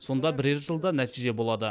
сонда бірер жылда нәтиже болады